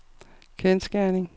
kendsgerning